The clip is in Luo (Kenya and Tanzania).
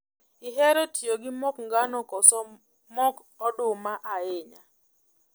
Ihero tiyo gi mok ngano koso mok oduma ahinya?